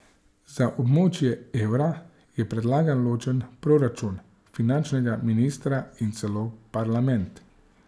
Za območje evra je predlagal ločen proračun, finančnega ministra in celo parlament.